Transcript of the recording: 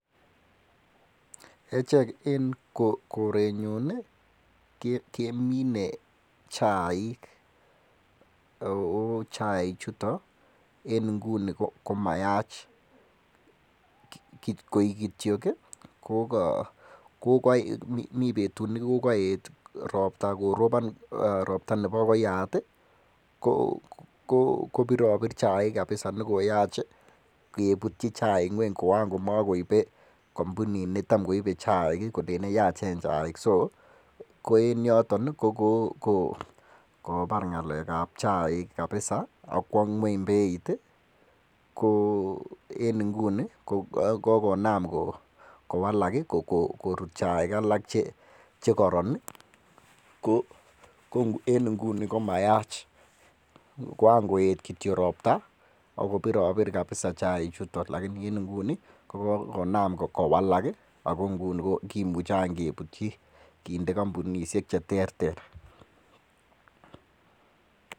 Echek en korenyun kemine chaik, ak chaichuton en inguni komayaach koikityok kokoyet robta Nebo koyaat kobirobir chaik kabisa nekoyaach I kebutyi chaik kweny Koran komokoibe kompunit netamkoibe chaik kolelen yachen chaik, ko en yoton kokobar ngalekab chaik kabisa ak kwo ngweny beit. Ko en inguni kokonaam kowalak koruut chaik alak Che koroon I,ko en inguni komayach kokowalak kimuche any kebutyi kinde kompunisiek che terter.